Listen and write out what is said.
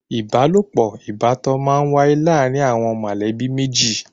Ìbálòpọ̀ ìbátan má ń wáyé láàrin àwọn mọ̀lẹ́bí méjì.